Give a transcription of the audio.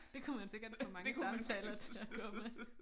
Det kunne man sikkert få mange samtaler til at gå med